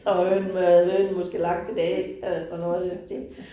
Og hønen havde hønen måske lagt et æg altså noget i den stil